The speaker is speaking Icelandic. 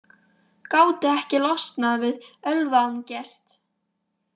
Gátu ekki losnað við ölvaðan gest